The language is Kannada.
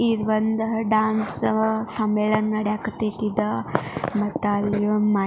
ಇದು ಒಂದು ಡಾನ್ಸ್ ಸಮ್ಮೇಳನ ನಡೆಯಾಕೆ ಹತ್ತೈತಿ ಇದು ಮತ್ತೆ ಅಲ್ಲಿ ಒಂದು ಮೈಕ್ .